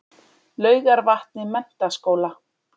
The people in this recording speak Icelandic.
Laugarvatni Menntaskóla